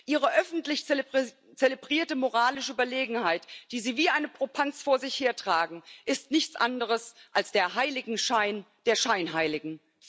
Ihre öffentlich zelebrierte moralische Überlegenheit, die Sie wie einen Popanz vor sich hertragen, ist nichts anderes als der Heiligenschein der Scheinheiligen.